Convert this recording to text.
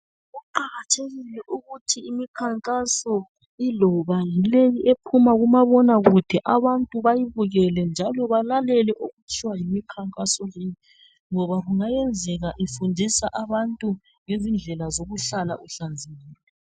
Kuqakathekile ukuthi imikhankaso iloba leyi ephuma kuma bonakude abantu bayibukele njalo balalele okutshiwo yimikhankaso leyi ngoba kungayenzeka ifundisa abantu indlela zokuhlala uhlanzekile .